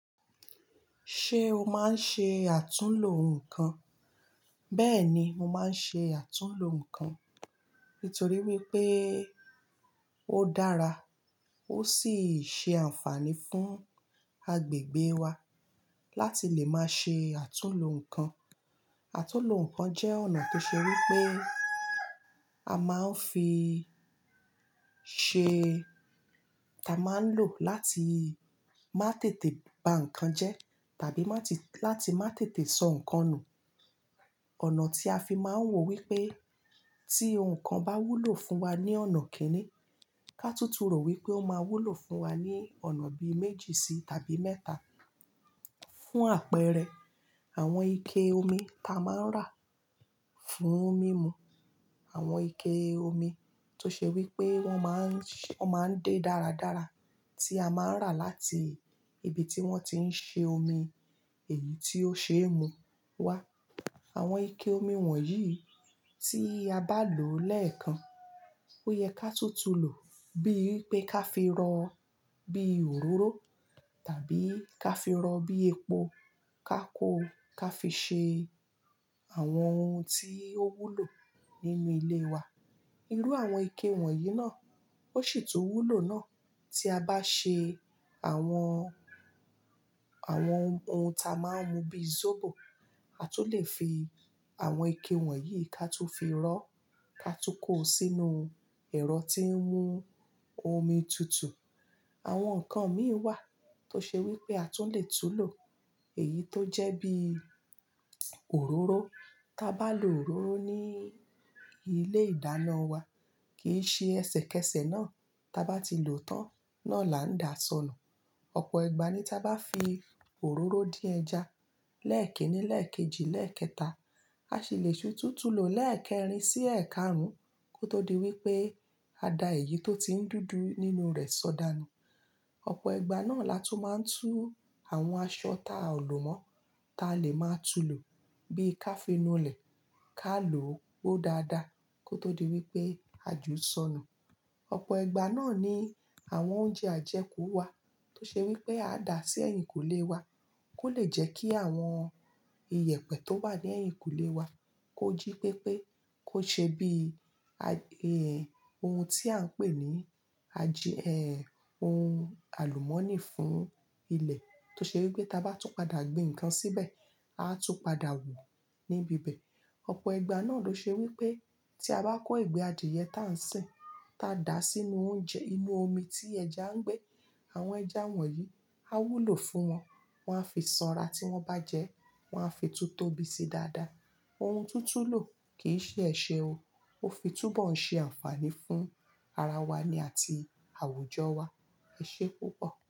Ṣé o máa ń ṣe àtúnlo nǹkan? Bẹ́ẹ̀ni, mo máa ń ṣe àtúnlo nǹkan nítorí wípé ó dára ó sì ṣe àǹfààní fún agbègbè wa láti lè máa ṣe àtúnlo nǹkan. Àtúnlo nǹkan jẹ́ ọ̀nà tó ṣe wípé a máa ń fi ṣe-- ta máa ń lò láti má tètè ba nǹkan jẹ tàbí má ti-- láti má tètè sọ nǹkan nù. Ọ̀nà tí a fi máa ń wò wípé tí ohun kan bá wúlò fún wa ní ọ̀nà kíni, ká tútù rò wípé ó máa wúlò fún wa ní ọ̀nà bíi méjì sí tàbí mẹ́ta. Fún àpẹẹrẹ, àwọn ike omi ta máa ń rà fún mímu, àwọn ike omi tó ṣe wípé wọ́n máa ń ṣe-- wọ́n máa ń dé dáradára tí a máa ń rà láti ibi tí wọ́n ti ń ṣe omi èyí tí ó ṣe é mu wá. Àwọn ike omi wọ̀nyí tí a bá lòó lẹ́ẹ̀kan, ó yẹ ká tún tún lò bí ì pé ká fi rọ bí òróró tàbí ká fi rọ bí epo, ká kó, ká fi ṣe àwọn ohun tí ó wúlò nínú ilé wa. Irú àwọn ike wọ̀nyí náà ó sì tun wúlò náà tí a bá ṣe àwọn, àwọn ohun ta máa ń mu bí zobo, a tún lè fi àwọn ike wọ̀nyí ká tún fi rọ́ ká tún kó sínú ẹ̀rọ tí ń mú omi tutù. Àwọn nǹkan míì wà tó ṣe wípé a tún lè tún lò. Èyí tó jẹ́ bí òróró. Tá bá lò òróró ní ilé ìdáná wa, kì í ṣe ẹsẹ̀kẹsẹ̀ náà ta bá ti lòó tán, náà la ń dà sọnù. Ọ̀pọ̀ igba ní tá bá fi òróró dín ẹja lẹ́ẹ̀kiní, lẹ́ẹ̀kejì, lẹ́ẹ̀kẹta, a sì lè tú tún tún lòó lẹ́ẹ̀kẹrin sí ẹ̀ẹ́karún kó tó di wípé a da èyí tó ti ń dúdú nínú rẹ̀ sọ̀dànù. Ọ̀pọ̀ igba náà la tún máa ń tú àwọn aṣọ ta a ò lò mọ́ ta lè máa tún lò bí ká fínú ilẹ̀ ká lò ó gbo dáadáa kó tó di wípé a jù sọnù. Ọ̀pọ̀ igba náà ni àwọn oúnjẹ ajẹkú wà tó ṣe wípé a dà sí ẹ̀yìnkùlé wa kó lè jẹ́ kí àwọn iyẹ̀pẹ̀ tó wà ní ẹ̀yìnkùlé wa kó jí pépé kó ṣe bí i ohun tí à ń pè ní ají, eh, ohun àlùmọ́nì fún ilẹ̀ tó ṣe wípé ta bá tún padà gbin nǹkan síbẹ̀, a tún padà hu níbi ibẹ̀. Ọ̀pọ̀ igba náà ló ṣe wípé tí a bá kó ìgbẹ́ adìẹ tá ń sìn ta dà sínú oúnjẹ inú omi tí ẹja ń gbé, àwọn ẹja wọ̀nyí á wúlò fún wọn, wọ́n á fi sanra tí wọ́n bá jẹ ẹ́, wọ́n á fi tún tóbi sí dáadáa. Ohun tútùn lò kì í ṣe ẹṣe o. Ó fi túbọ̀ ń ṣe àǹfààní fún ara wa ni àti àwùjọ wa. E sé púpọ̀.